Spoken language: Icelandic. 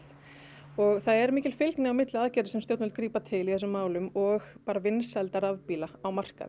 og það er mikil fylgni í aðgerðum sem stjórnvöld grípa til í þessum málum og vinsælda rafbíla á markaði